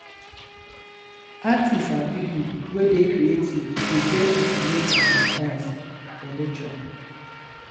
artist and pipo wey dey creative dey get inspiration sometimes from nature